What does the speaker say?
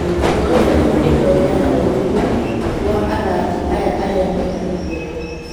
"Muoroto nĩ kũrũta wĩra na ũrũmwe gwa athaki aya arĩa mena iheo.